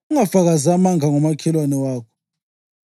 Ungafakazi amanga ngomakhelwane wakho.